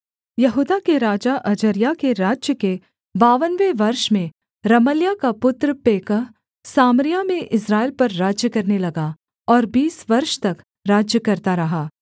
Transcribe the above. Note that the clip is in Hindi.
यहूदा के राजा अजर्याह के राज्य के बावनवें वर्ष में रमल्याह का पुत्र पेकह सामरिया में इस्राएल पर राज्य करने लगा और बीस वर्ष तक राज्य करता रहा